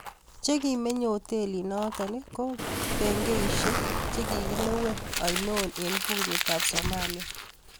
chegimenye otelinaton ko bengeisieg chegigilewen aino en bungetap somalia